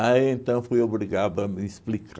então, fui obrigado a me